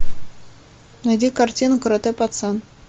найди картину каратэ пацан